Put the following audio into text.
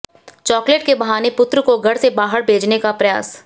chocolate के बहाने पुत्र को घर से बाहर भेजने का प्रयास